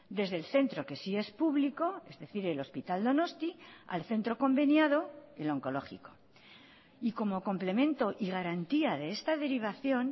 desde el centro que sí es público es decir el hospital donostia al centro conveniado el oncológico y como complemento y garantía de esta derivación